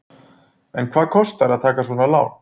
En hvað kostar að taka svona lán?